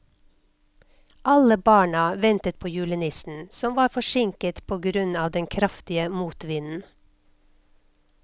Alle barna ventet på julenissen, som var forsinket på grunn av den kraftige motvinden.